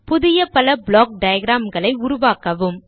புதிய பல block diagram களை உருவாக்கவும்